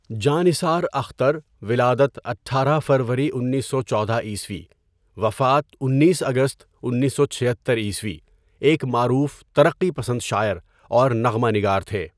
جاں نثار اختر ولادت ۱۸ فروری ۱۹۱۴ء وفات ۱۹ اگست ۱۹۷۶ء ایک معروف ترقی پسند شاعر اور نغمہ نگار تھے.